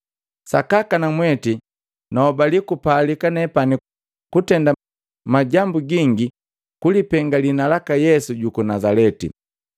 “Sakaka namweti nahobali jene kupalika nepani kutenda majambu gingi kulipenga liina laka Yesu juku Nazaleti.